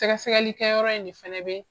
Sɛgɛ sɛgɛli kɛ yɔrɔ in ne fɛnɛ bɛ